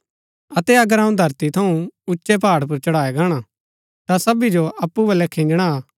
अतै अगर अऊँ धरती थऊँ उच्चै पुर चढाया गाणा ता सबी जो अप्पु बलै खिंजणा हा